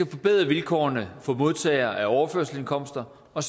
at forbedre vilkårene for modtagere af overførselsindkomster og